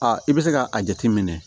Aa i bɛ se ka a jateminɛ